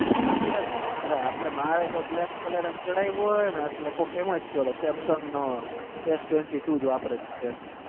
આપદ ન માર તો black colour ચડયો હોય ને કોક કે એમજ કે samsung નોજ્ન વાપર